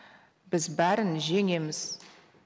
біз бәрін жеңеміз